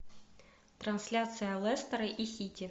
трансляция лестера и сити